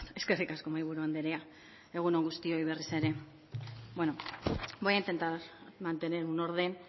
eskerrik asko mahaiburu andrea egun on guztioi berriz ere bueno voy a intentar mantener un orden